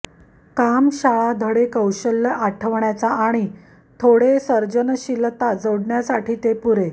काम शाळा धडे कौशल्य आठवण्याचा आणि थोडे सर्जनशीलता जोडण्यासाठी ते पुरे